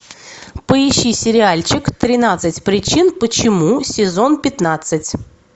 поищи сериальчик тринадцать причин почему сезон пятнадцать